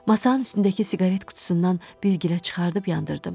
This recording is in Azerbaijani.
Masanın üstündəki siqaret qutusundan bilgülə çıxarıb yandırdım.